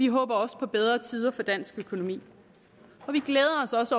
håber også på bedre tider for dansk økonomi